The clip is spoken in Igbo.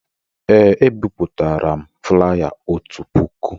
Ee, ebipụtara m flaya otu puku